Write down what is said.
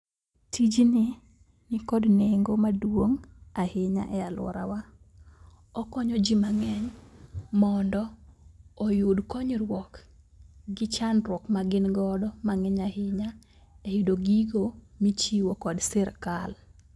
Tijni nikod nengo maduong' ahinya e aluorawa. Okonyo jii mang'eny mondo oyud konyruok gi chandruok ma gin godo mang'eny ahinya, e yudo gigo michiwo kod sirkal.